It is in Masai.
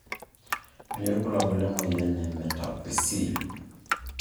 Kanyio ibulabul lemoyian e Metaphyseal drsplasia maxillary hyoplasia brachdactyly?